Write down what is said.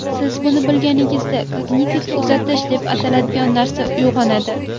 Siz buni bilganingizda kognitiv uzatish deb ataladigan narsa uyg‘onadi.